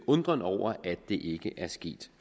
undren over at det ikke er sket